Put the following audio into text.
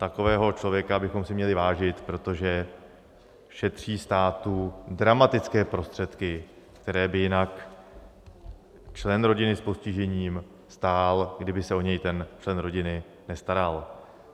Takového člověka bychom si měli vážit, protože šetří státu dramatické prostředky, které by jinak člen rodiny s postižením stál, kdyby se o něj ten člen rodiny nestaral.